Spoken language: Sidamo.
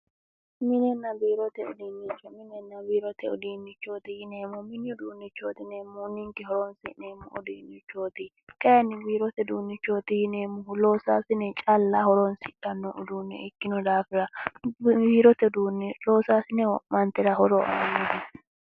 Minninna biirote uduunnicho yineemmohu mine horoonsi'neemmohu ninke mine horoonssi'neemmo uduunnichooti kayinni biirote horoonsi'neemmohu losaassine challa horoonsidhanno uduuneeti